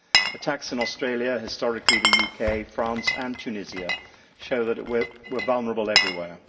Attacks in Australia, historically the UK, France and Tunisia show that we are vulnerable everywhere.